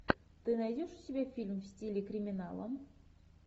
ты найдешь у себя фильм в стиле криминала